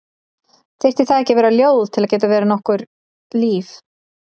Þyrfti það ekki að vera ljóð til að geta verið nokkurt líf?